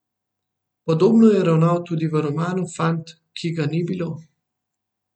Podobno je ravnal tudi v romanu Fant, ki ga ni bilo.